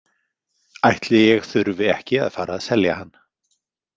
Ætli ég þurfi ekki að fara að selja hann.